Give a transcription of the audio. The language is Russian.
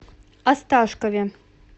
осташкове